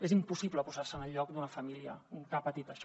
és impossible posar se en el lloc d’una família que ha patit això